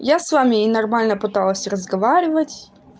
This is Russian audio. я с вами и нормально пыталась разговаривать